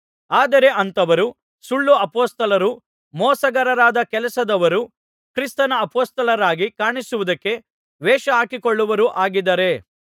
ಆದರೆ ಅಂಥವರು ಸುಳ್ಳು ಅಪೊಸ್ತಲರೂ ಮೋಸಗಾರರಾದ ಕೆಲಸದವರೂ ಕ್ರಿಸ್ತನ ಅಪೊಸ್ತಲರಾಗಿ ಕಾಣಿಸುವುದಕ್ಕೆ ವೇಷಹಾಕಿಕೊಳ್ಳುವವರೂ ಆಗಿದ್ದಾರೆ